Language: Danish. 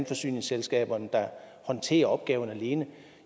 forsyningsselskaberne der håndterer opgaven alene